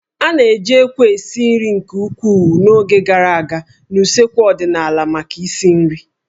A na-eji ékwú esi nri nke ukwuu n'oge gara aga na usekwu ọdịnala maka isi nri